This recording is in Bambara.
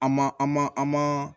An ma an ma an ma